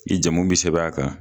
I jamu be sɛbɛn a kan